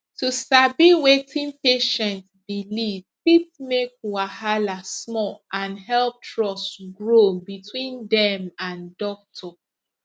to sabi wetin patient believe fit make wahala small and help trust grow between dem and doctor